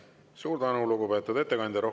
Suur tänu, lugupeetud ettekandja!